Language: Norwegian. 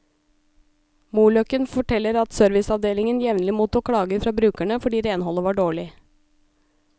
Moløkken forteller at serviceavdelingen jevnlig mottok klager fra brukerne fordi renholdet var dårlig.